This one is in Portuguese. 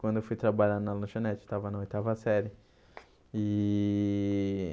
Quando eu fui trabalhar na lanchonete, estava na oitava série e.